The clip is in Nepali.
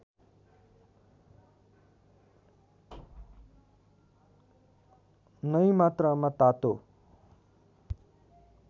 नै मात्रामा तातो